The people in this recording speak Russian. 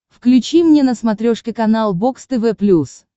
включи мне на смотрешке канал бокс тв плюс